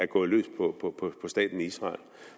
gået løs på staten israel